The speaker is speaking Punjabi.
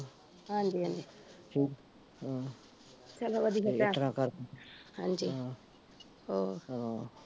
ਹਾਂਜੀ ਹਾਂਜੀ ਹਮ ਚਲੋ ਵਧੀਆ ਹਾਂਜੀ ਹਮ ਹੋਰ ਅਮ